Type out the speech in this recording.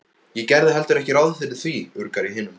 Ég gerði heldur ekki ráð fyrir því, urgar í hinum.